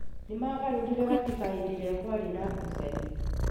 Nĩ maagarũrire Katiba hĩndĩ ĩrĩa kwarĩ na ngucanio.